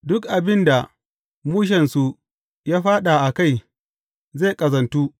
Duk abin da mushensu ya fāɗa a kai, zai ƙazantu.